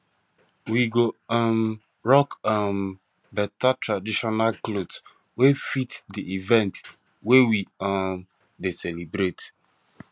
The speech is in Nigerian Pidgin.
we go um rock um better traditional cloth wey fit di event wey we um dey celebrate